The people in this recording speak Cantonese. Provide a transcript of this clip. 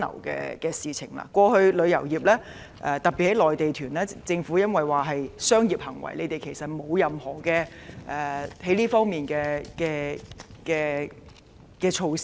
過去政府認為旅遊業，特別是營辦內地團屬於商業行為，在這方面沒有制訂任何措施。